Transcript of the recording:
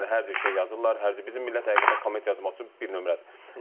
Yəni hər cür şey yazırlar, hər cür bizim millət həqiqətən komment yazmaq üçün bir nömrədir.